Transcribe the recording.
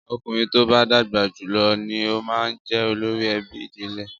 Ọkùnrin tó bá dàgbà jù lọ ni ó máa ń jẹ olórí ẹbí ìdílé.